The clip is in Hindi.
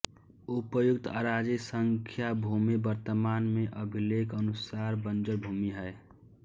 उपर्युक्त आराजी संख्या भूमि वर्तमान में अभिलेखनुसार बंजर भूमि है